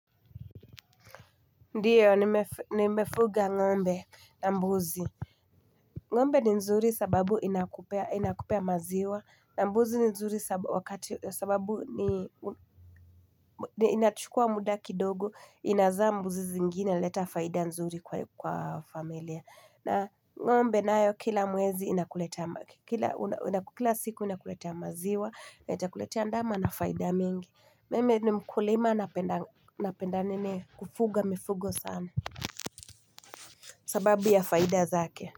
Ndio nimefuga ngombe na mbuzi ngombe ni nzuri sababu inakupea maziwa na mbuzi ni nzuri sababu inachukua muda kidogo inazaa mbuzi zingine huleta faida nzuri kwa familia na ngombe nayo kila mwezi kila siku inakuletea maziwa na itakuletea ndama na faida mingi. Mimi ni mkulima napenda nini kufuga mifugo sana sababu ya faida zake.